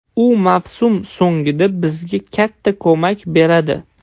U mavsum so‘ngida bizga katta ko‘mak beradi.